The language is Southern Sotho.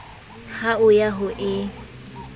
ha o ya ho e